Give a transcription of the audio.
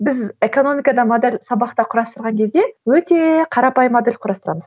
біз экономикада модель сабақта құрастырған кезде өте қарапайым модель құрастырамыз